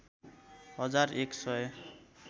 हजार एक सय